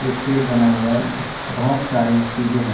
Shade बना हुआ हैं बहोत सारी चीजें है।